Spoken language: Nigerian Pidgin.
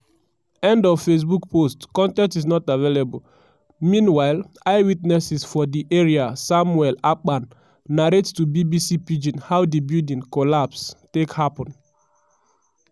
end of facebook post con ten t is not available meanwhile eyewitnesses for di area samuel akpan narrate to bbc pidgin how di building collapse take happun.